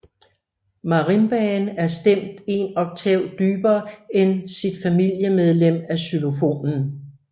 Marimbaen er stemt en oktav dybere end sit familiemedlem xylofonen